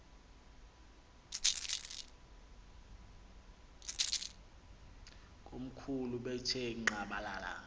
komkhulu bethe nqadalala